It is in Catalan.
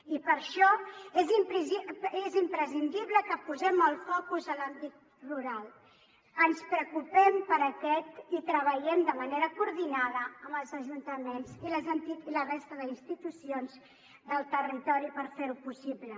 i per això és imprescindible que posem el focus en l’àmbit rural que ens preocupem per aquest i treballem de manera coordinada amb els ajuntaments i la resta d’institucions del territori per fer ho possible